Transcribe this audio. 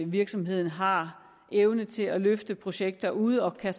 virksomheden har evne til at løfte projekter ude og